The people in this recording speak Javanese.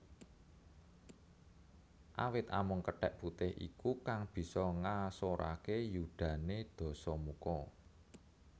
Awit amung kethèk putih iku kang bisa ngasoraké yudané Dasamuka